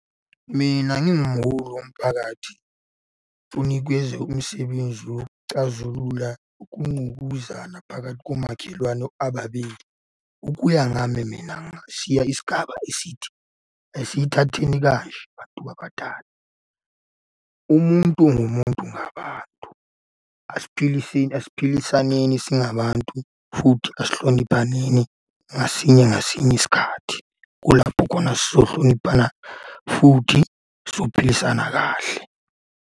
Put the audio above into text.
Mina ngingumholi womphakathi ngifuna ukwenza umsebenzi wokucazulula ukungqubuzana phakathi komakhelwane ababili. Ukuya ngami mina ngingashiya isigaba esithi, asiyithatheni kanje bantu abadala, umuntu ngumuntu ngabantu. Asiphiliseni, asiphilisaneni singabantu, futhi asihloniphaneni ngasinye ngasinye isikhathi. Kulapho khona sizohlonipha, futhi sophilisana kahle.